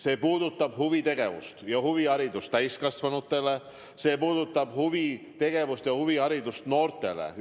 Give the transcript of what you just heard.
See puudutab huvitegevust ja huviharidust täiskasvanutele, see puudutab huvitegevust ja huviharidust noortele.